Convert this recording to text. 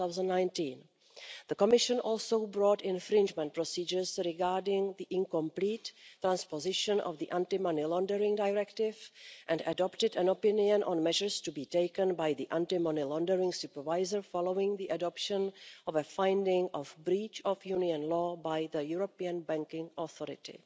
2019. The Commission also brought infringement procedures regarding the incomplete transposition of the Anti Money Laundering Directive and adopted an opinion on measures to be taken by the Anti Money Laundering Supervisor following the adoption of a finding of breach of Union law by the European Banking Authority.